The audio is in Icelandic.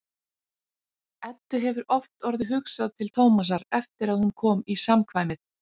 Eddu hefur oft orðið hugsað til Tómasar eftir að hún kom í samkvæmið.